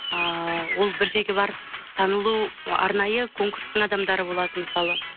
ыыы ол бір жерге барып танылу ы арнайы конкурстың адамдары болады мысалы